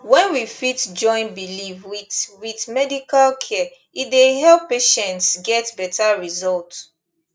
when we fit join belief with with medical care e dey help patients get better result